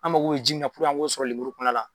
A mago be ji min na puruke an k'o sɔrɔ lemuru fana la